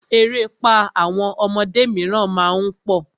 Erépá àwọn ọmọdé míràn má ń pọ̀.